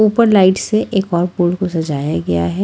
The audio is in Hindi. ऊपर लाइट से एक और पोल को सजाया गया है।